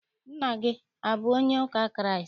Nna gị abụ onye ụka Kraịst?